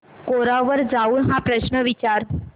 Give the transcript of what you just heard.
कोरा वर जाऊन हा प्रश्न विचार